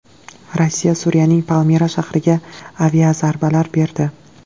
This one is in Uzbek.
Rossiya Suriyaning Palmira shahriga aviazarbalar berdi.